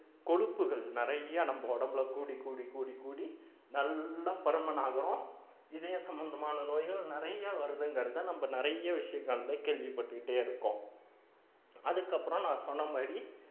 கொழுப்புகள் நிறைய நம்ம உடம்புல கூடி கூடி கூடி கூடி நல்லா பருமனாகறோம் இதய சம்பந்தமான நோய்கள் நிறைய வருதுங்கிறதை நம்ம நிறைய விஷயங்கள்ல கேள்விப்பட்டுக்கிட்டே இருக்கோம் அதுக்கப்புறம் நான் சொன்ன மாதிரி